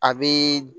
A bi